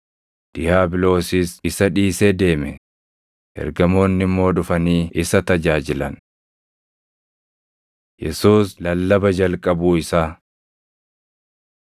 Diiyaabiloosis isa dhiisee deeme; ergamoonni immoo dhufanii isa tajaajilan. Yesuus Lallaba Jalqabuu Isaa